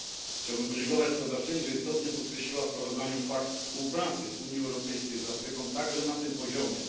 Chciałbym podziękować sprawozdawczyni, że istotnie podkreśliła w sprawozdaniu fakt współpracy Unii Europejskiej z Afryką także na tym poziomie.